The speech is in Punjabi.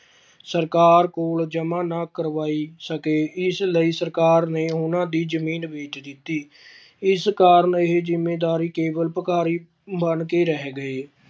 ਸਰਕਾਰ ਕੋਲ ਜਮਾਂ ਨਾ ਕਰਵਾਈ ਸਕੇ ਇਸ ਲਈ ਸਰਕਾਰ ਨੇ ਉਹਨਾਂ ਦੀ ਜ਼ਮੀਨ ਵੇਚ ਦਿੱਤੀ ਇਸ ਕਾਰਨ ਇਹ ਜ਼ਿੰਮੀਦਾਰੀ ਕੇਵਲ ਭਿਖਾਰੀ ਬਣਕੇ ਰਹਿ ਗਏ।